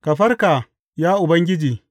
Ka farka, ya Ubangiji!